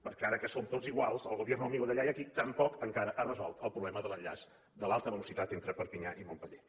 perquè ara que som tots iguals el gobierno amigo d’allà i d’aquí tampoc encara ha resolt el problema de l’enllaç de l’alta velocitat entre perpinyà i montpeller